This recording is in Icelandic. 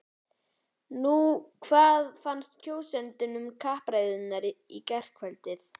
Nú er spurt, hvað fannst kjósendum um kappræðurnar í gærkvöld?